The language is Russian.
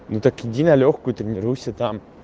ну так иди на лёгкую тренируйся там